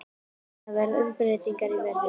Það verða umbreytingar í veðrinu.